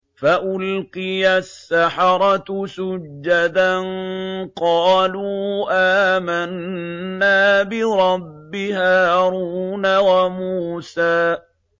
فَأُلْقِيَ السَّحَرَةُ سُجَّدًا قَالُوا آمَنَّا بِرَبِّ هَارُونَ وَمُوسَىٰ